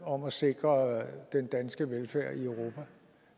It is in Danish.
om at sikre den danske velfærd i europa